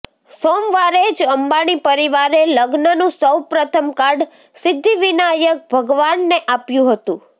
સોમવારે જ અંબાણી પરિવારે લગ્નનું સૌ પ્રથમ કાર્ડ સિદ્ધિવિનાયક ભગવાનને આપ્યું હતું